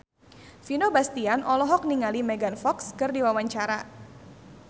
Vino Bastian olohok ningali Megan Fox keur diwawancara